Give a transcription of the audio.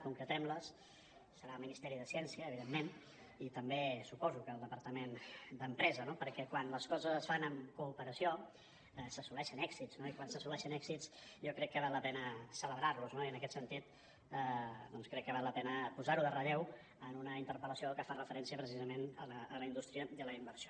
concretem les serà el ministeri de ciència evidentment i també suposo que el departament d’empresa no perquè quan les coses es fan amb cooperació s’assoleixen èxits no i quan s’assoleixen èxits jo crec que val la pena celebrar los i en aquest sentit doncs crec que val la pena posar ho en relleu en una interpel·lació que fa referència precisament a la indústria i a la inversió